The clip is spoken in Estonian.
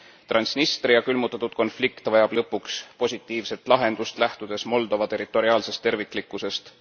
Transnistria külmutatud konflikt vajab lõpuks positiivset lahendust, lähtudes Moldova territoriaalsest terviklikkusest.